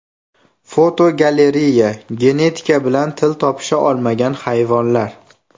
Fotogalereya: Genetika bilan til topisha olmagan hayvonlar.